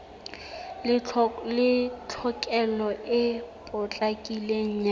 le tlhokeho e potlakileng ya